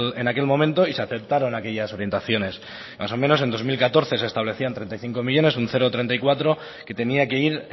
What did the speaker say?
en aquel momento y se aceptaron aquellas orientaciones más o menos en dos mil catorce se establecían treinta y cinco millónes un cero coma treinta y cuatro que tenía que ir